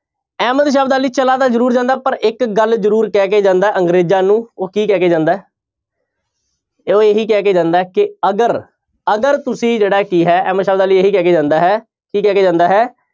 ਅਹਿਮਦ ਸ਼ਾਹ ਅਬਦਾਲੀ ਚਲਾ ਤਾਂ ਜ਼ਰੂਰ ਜਾਂਦਾ ਪਰ ਇੱਕ ਗੱਲ ਜ਼ਰੂਰ ਕਹਿ ਕੇ ਜਾਂਦਾ ਅੰਗਰੇਜ਼ਾਂ ਨੂੰ ਉਹ ਕੀ ਕਹਿ ਕੇ ਜਾਂਦਾ ਹੈ ਉਹ ਇਹੋ ਕਹਿ ਕੇ ਜਾਂਦਾ ਹੈ ਕਿ ਅਗਰ ਅਗਰ ਤੁਸੀਂ ਜਿਹੜਾ ਕੀ ਹੈ ਅਹਿਮਦ ਸ਼ਾਹ ਅਬਦਾਲੀ ਇਹੀ ਕਹਿ ਕੇ ਜਾਂਦਾ ਹੈ ਕੀ ਕਹਿ ਕੇ ਜਾਂਦਾ ਹੈ